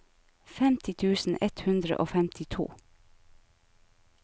femti tusen ett hundre og femtito